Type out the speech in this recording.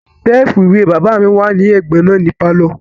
Sẹ́ẹ̀fù ìwé bàbá mi wà ní ẹ̀gbẹ́ náà ní pálọ̀